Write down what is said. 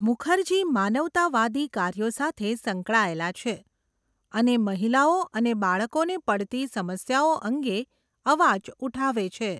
મુખર્જી માનવતાવાદી કાર્યો સાથે સંકળાયેલા છે અને મહિલાઓ અને બાળકોને પડતી સમસ્યાઓ અંગે અવાજ ઉઠાવે છે.